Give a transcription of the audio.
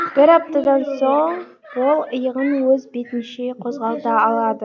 бір аптадан соң ол иығын өз бетінше қозғалта алады